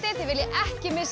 þið viljið ekki missa